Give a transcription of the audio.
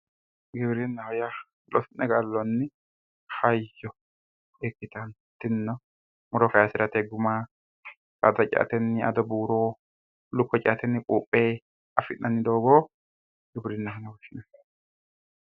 Giwirinnaho yaa loosi'ne gallonni hayyo ikkittano tinino horo afirate guma sayisirate ,addo buuro lukkuwa ceate affi'nanni doogo giwirinaho yinnanni.